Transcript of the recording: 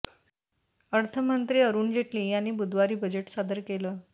अर्थमंत्री अरुण जेटली यांनी बुधवारी बजेट सादर केलं